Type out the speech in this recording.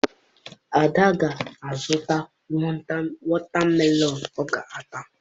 Ada ga-azụta wọta melọn ọ ga-ata